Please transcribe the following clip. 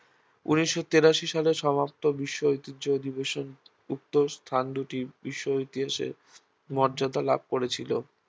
ঊনিশ তিরাশি সালে সমস্ত বিশ্ব ঐতিহ্য অধিবেশন উক্ত স্থান দুটি বিশ্ব ঐতিহ্যের মর্যাদা লাভ করেছিল